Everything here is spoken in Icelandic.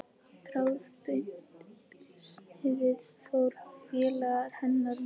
Þráðbeint sniðið fór félaga hennar mun betur.